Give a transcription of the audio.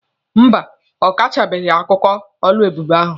Mba, ọ kọchabeghị akụkọ oluebube ahụ.